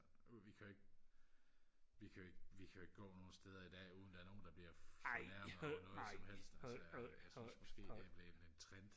vi kan jo ikke vi kan jo ikke vi kan jo ikke gå nogle steder i dag uden der er nogle der bliver fornærmet over noget som helst altså jeg synes måske det er blevet en trend